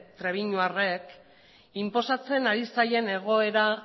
trebiñuarrek inposatzen ari zaien egoera